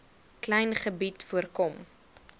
klein gebied voorkom